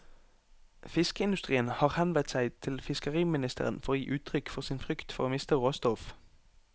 Fiskeindustrien har henvendt seg til fiskeriministeren for å gi uttrykk for sin frykt for å miste råstoff.